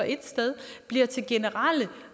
et sted bliver til generelle